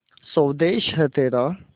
स्वदेस है तेरा